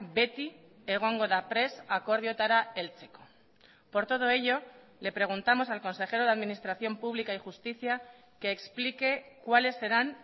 beti egongo da prest akordioetara heltzeko por todo ello le preguntamos al consejero de administración pública y justicia que explique cuáles serán